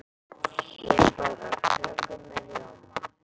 Ég borða köku með rjóma.